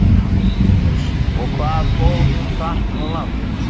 Magnús: Og hvað fór hún hratt og langt?